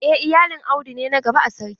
En iyalin audu ne na gaba a sarki.